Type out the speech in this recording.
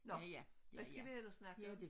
Nå hvad skal vi ellers snakke om